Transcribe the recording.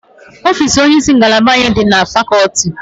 Ofiisi onyeisi ngalaba anyị dị na fakọlti